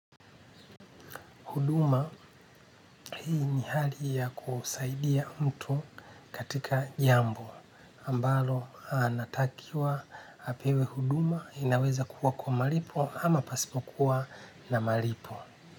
Huduma hii ni hali ya kusaidia mtu katika jambo ambalo anatakiwa apewe huduma inaweza kuwa kwa malipo ama pasipokuwa na malipo.